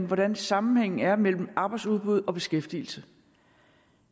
hvordan sammenhængen er mellem arbejdsudbud og beskæftigelse